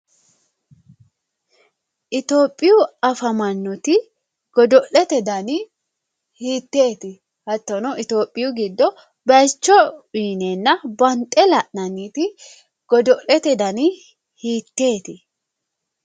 Itophiyu afamanoti dodo'lete danni hiiteti hattono Itophiyu giddo bayicho uuyinenna bande la'nanniti godo'lete danni hiiteti ?